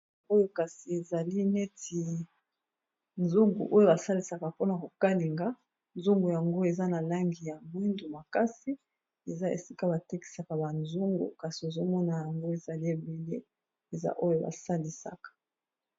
Oyo kasi, ezali neti nzungu oyo ba salisaka mpona ko kalinga. Nzungu yango, eza na langi ya mwindo makasi. Eza esika ba tekisaka ba nzungu. Kasi ozo mona, yango ezali ebele, eza oyo ba salisaka.